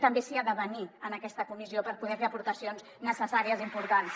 també s’hi ha de venir en aquesta comissió per poder hi fer aportacions necessàries importants